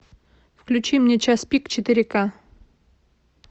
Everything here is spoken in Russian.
включи мне час пик четыре ка